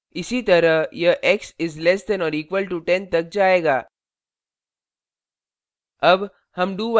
इसी तरह यह x is less than or equal to 10 तक जाएगा